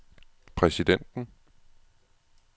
præsidenten